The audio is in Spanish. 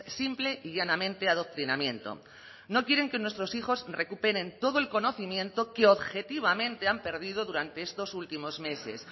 simple y llanamente adoctrinamiento no quieren que nuestros hijos recuperen todo el conocimiento que objetivamente han perdido durante estos últimos meses